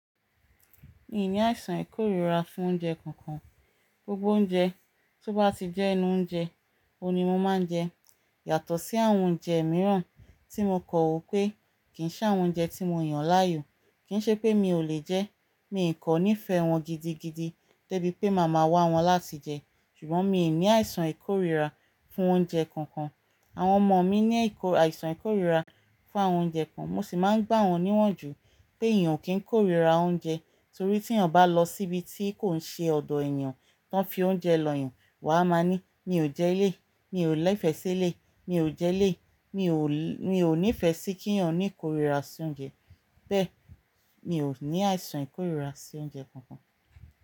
Mi ò ní àìsàn ìkórìíra fún oúnjẹ kankan. Gbogbo oúnjẹ tó bá ti jẹ́ inú oúnjẹ, òun ni mo máa ń jẹ. Yàtọ̀ sí àwọn oúnjẹ mìíràn tí mo kan wo wi pé kì ń ṣe àwọn oúnjẹ tí mo yàn láàyò. Kì ń ṣe pé mi ò lè jẹ ẹ́, mi kò nífẹ̀ẹ́ wọn gidigidi, dẹ́ bí pé màmá wá wọn láti jẹ. Ṣùgbọ́n mi ò ní àìsàn ìkórìíra fún oúnjẹ kankan. Àwọn ọmọ mi ní àìsàn ìkórìíra fún àwọn oúnjẹ kan, mo sì máa ń gbà wọ́n ní yan jù pé èèyàn kì í kórìíra oúnjẹ, torí tí èèyàn bá lọ síbi tí kò ṣe ọ̀dọ̀ èniyàn tó n fi oúnjẹ lọ́ yàn, wà á máa ní, "Mi ò jẹ́ eleyi, mi ò nifẹ̀ẹ́ sí eleyi, mi ò jẹ́ eleyi, mi ò nífẹ̀ẹ́ sí kí èniyàn ní ìkórìíra sí oúnjẹ." Bẹ́ẹ̀, mi ò ní àìsàn ìkórìíra sí oúnjẹ kankan.